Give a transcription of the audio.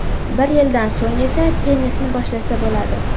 Bir yildan so‘ng esa tennisni boshlasa bo‘ladi.